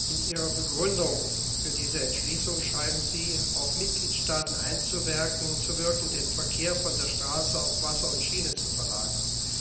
In Ihrer Begründung für diese Entschließung schreiben Sie auf Mitgliedstaaten einzuwirken, den Verkehr von der Straße auf Wasser und Schiene zu verlagern.